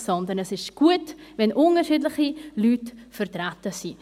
Denn es ist gut, wenn unterschiedliche Leute vertreten sind.